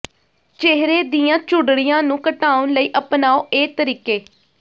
ਚਿਹਰੇ ਦੀਆਂ ਝੁਰੜੀਆਂ ਨੂੰ ਘਟਾਉਣ ਲਈ ਅਪਣਾਓ ਇਹ ਤਰੀਕੇ